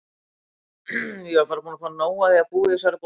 Ég er bara búin að fá nóg af að búa í þessari borg.